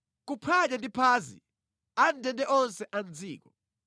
Kuphwanya ndi phazi a mʼndende onse a mʼdziko,